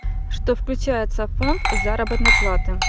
что включается в фонд заработной платы